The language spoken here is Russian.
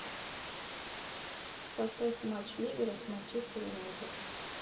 поставь матч ливера с манчестер юнайтед